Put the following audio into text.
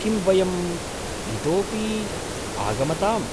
किं वयम् इतोऽपि आगमताम्?